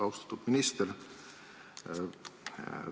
Austatud minister!